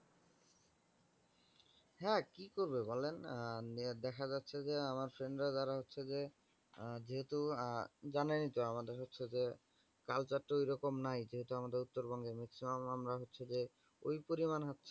হ্যা কি করবে বলেন, আহ দেখা যাচ্ছে যে আমার সঙ্গে যারা হচ্ছে যে আহ যেহেতু জানেন তো আমাদের হচ্ছে যে culture তো ওই রকম নাই যেটা আমাদের উত্তরবঙ্গে maximum আমরা হচ্ছে যে ওই পরিমাণ।